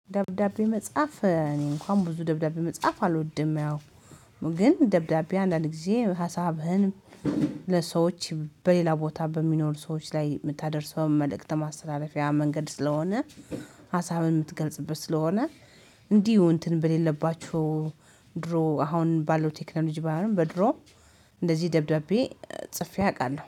ደብዳቤ መጻፍ እኔ እንኳን ብዙ ደብዳቤ መጻፍ አልወድም። ያው ግን ደብዳቤ አንዳንድ ጊዜ ሀሳብህን ለሰዎች በሌላ ቦታ በሚኖሩ ሰዎች ላይ የምታደርሰው መልእክት ማስተላለፊያ መንገድ ስለሆነ። ሀሳብን የምትገልጽበት ስለሆነ። እንዲሁ እንትን በሌለባችሁ ድሮ አሁን ባለው ቴክኖሎጂ ባይሆንም በድሮ እንደዚህ ደብዳቤ ጽፌ አውቃለሁ